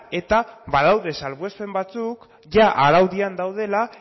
eta badaude salbuespen batzuk jada araudian daudela